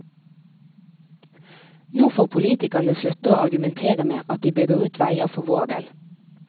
Nå får politikerne slutte å argumentere med at de bygger ut veier for vår del.